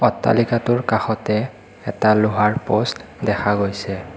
অট্টালিকাটোৰ কাষতে এটা লোহাৰ প'ষ্ট দেখা গৈছে।